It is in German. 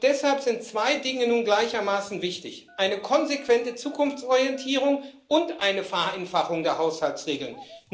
Deshalb sind zwei Dinge nun gleichermaßen wichtig eine konsequente Zukunftsorientierung und eine Vereinfachung der Haushaltsregeln.